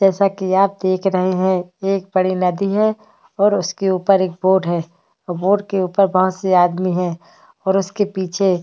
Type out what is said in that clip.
जैसा कि आप देख रहे हैं एक बड़ी नदी है और उसके ऊपर एक बोट है और बोट के ऊपर बहुत से आदमी है और उसके पीछे --